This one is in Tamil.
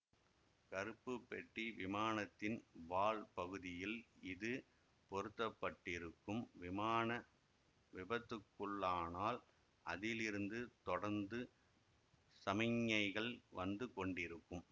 கருப்பு பெட்டி விமானத்தின் வால் பகுதியில் இது பொறுத்தப்பட்டிருக்கும் விமானம் விபத்துக்குள்ளானால் அதிலிருந்து தொடர்ந்து சமிக்ஞைகள் வந்து கொண்டிருக்கும்